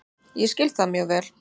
Ég skil það mjög vel